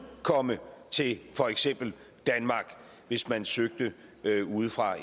komme til for eksempel danmark hvis man søgte ude fra